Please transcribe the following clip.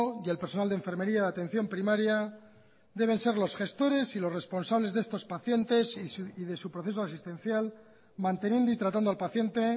y el personal de enfermería de atención primaria deben ser los gestores y los responsables de estos pacientes y de su proceso asistencial manteniendo y tratando al paciente